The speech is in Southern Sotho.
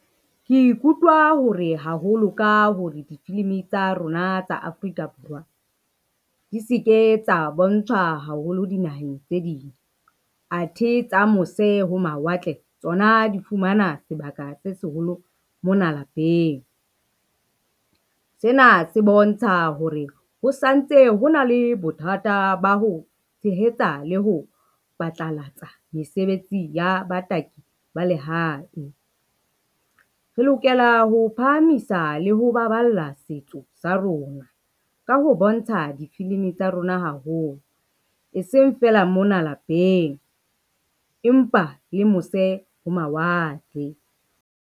Ke ikutlwa hore haholo ka hore difilimi tsa rona tsa Afrika Borwa, di se ke tsa bontshwa haholo dinaheng tse ding, athe tsa mose ho mawatle tsona di fumana sebaka se seholo mona lapeng. Sena se bontsha hore ho santse ho na le bothata ba ho tshehetsa le ho phatlalatsa mesebetsi ya bataki ba lehae. Re lokela ho phahamisa le ho baballa setso sa rona, ka ho bontsha difilimi tsa rona haholo, e seng feela mona lapeng, empa le mose ho mawatle.